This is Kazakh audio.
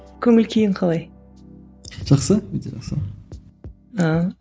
көңіл күйің қалай жақсы өте жақсы ааа